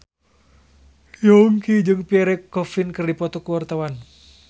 Yongki jeung Pierre Coffin keur dipoto ku wartawan